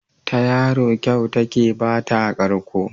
Ta yaro kyau take ba ta karko.